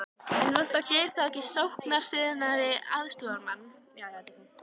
En vantar Geir þá ekki sóknarsinnaðri aðstoðarmann?